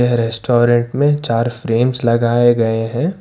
Restaurant में चार frames लगाए गए हैं।